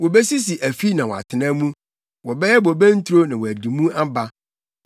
Wobesisi afi na wɔatena mu, wɔbɛyɛ bobe nturo na wɔadi mu aba.